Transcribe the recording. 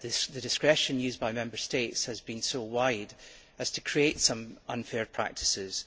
The discretion used by Member States has been so wide as to create some unfair practices.